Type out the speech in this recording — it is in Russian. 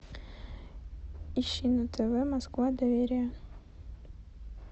ищи на тв москва доверие